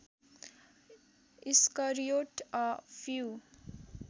Iscariot a few